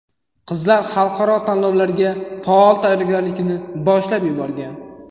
Qizlar xalqaro tanlovlarga faol tayyorgarlikni boshlab yuborgan.